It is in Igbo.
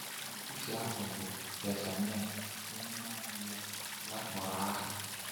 N’etiti ha bụ Jaazaniah, onye naanị ya ya kpọrọ aha.